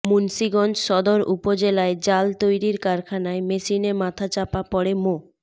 মুন্সীগঞ্জ সদর উপজেলায় জাল তৈরির কারখানায় মেশিনে মাথা চাপা পড়ে মো